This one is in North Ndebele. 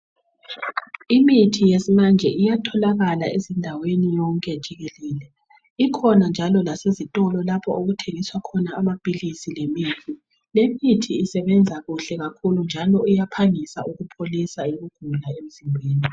Imithi yesimanje iyatholakala ezindaweni zonke jikelele ikhona njalo lasezitolo lapho okuthengiswa khona amaphilisi lemithi lemithi isebenze kuhle kakhulu njalo iyaphangisa ukupholisa ukugula emzimbeni.